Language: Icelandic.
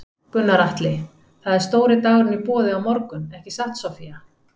Gunnar Atli: Það er stóri dagurinn í boði á morgun ekki satt Soffía?